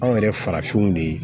Anw yɛrɛ farafinw de ye